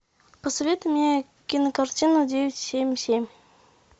посоветуй мне кинокартину девять семь семь